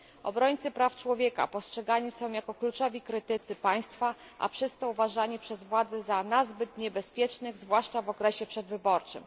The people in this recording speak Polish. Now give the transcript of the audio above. Obrońcy praw człowieka postrzegani są jako kluczowi krytycy państwa, a przez to uważani przez władze za nazbyt niebezpiecznych, zwłaszcza w okresie przedwyborczym.